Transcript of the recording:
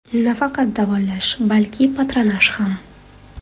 Nafaqat davolash, balki patronaj ham.